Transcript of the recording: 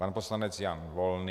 Pan poslanec Jan Volný.